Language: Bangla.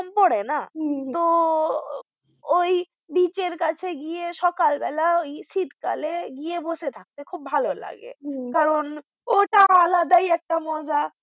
তো ওই beach এর কাছে গিয়ে ওই সকাল বেলা ওই শীতকাল এ গিয়ে বসে থাকতে খুব ভালো লাগে কারণ ওটা আলাদাই একটা মজা